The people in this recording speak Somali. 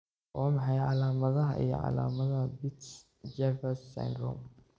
Waa maxay calaamadaha iyo calaamadaha Peutz Jeghers syndrome?